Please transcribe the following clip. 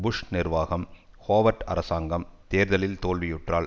push நிர்வாகம் Howard அரசாங்கம் தேர்தலில் தோல்வியுற்றால்